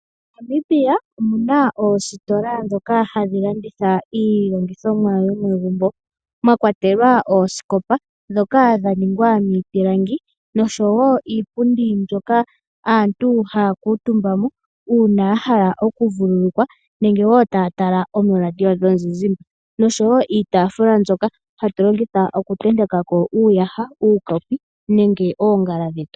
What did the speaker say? MoNamibia omu na oositola ndhoka hadhi landitha iilongithomwa yomegumbo mwa kwatelwa oosikopa ndhoka dha ningwa miipilangi noshowo iipundi hoka aantu haya kuutumba uuna ya hala okuvululukwa nenge wo taya tala ooradio yomuzizimba nosho wo iitaafula mbyoka hatu longitha okutenteka ko uuyaha, uukopi nenge oongala dhetu.